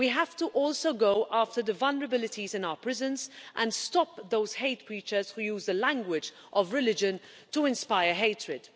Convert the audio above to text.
we have to also go after the vulnerabilities in our prisons and stop those hate preachers who use the language of religion to inspire hatred.